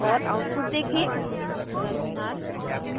और आउटपुट देखें